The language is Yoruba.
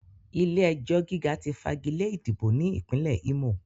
Ilé-ẹjọ̀ gíga ti fagilé ìdìbò ní Ìpínlẹ̀ Ímò